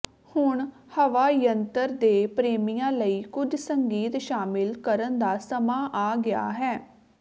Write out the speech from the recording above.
ਹੁਣ ਹਵਾ ਯੰਤਰ ਦੇ ਪ੍ਰੇਮੀਆਂ ਲਈ ਕੁਝ ਸੰਗੀਤ ਸ਼ਾਮਲ ਕਰਨ ਦਾ ਸਮਾਂ ਆ ਗਿਆ ਹੈ